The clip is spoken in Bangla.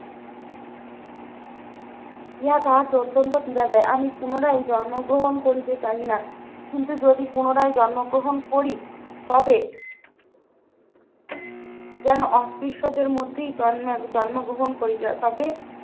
ইহা তাহাকে অত্যন্ত পীড়া দেয় আমি পুনরায় জন্মগ্রহণ করিতে চাই না কিন্তু যদি পুনরায় জন্মগ্রহণ করি তবে যেন অস্পৃশ্যতার মধ্যেই জন্মে জন্মগ্রহণ করি যা তবে